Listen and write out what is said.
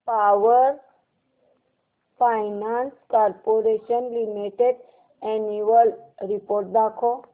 power finance corporation limited annual report दाखव